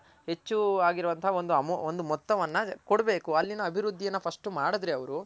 ಹೆಚ್ಚು ಆಗಿರೊ ವಂತ ಒಂದು ಮೊತ್ತವನ್ನ ಕೊಡ್ಬೇಕು ಅಲ್ಲಿನ ಅಭಿವೃದ್ದಿ ನ first ಮಾಡ್ದ್ರೆ ಅವ್ರು